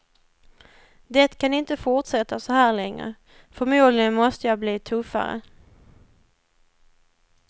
Det kan inte fortsätta så här längre, förmodligen måste jag bli tuffare.